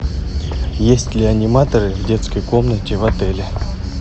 есть ли аниматоры в детской комнате в отеле